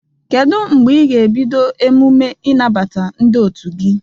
Kedu mgbe ị ga-ebido emume ịnabata ndị otu gi?